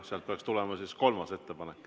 Sealt peaks tulema siis kolmas ettepanek.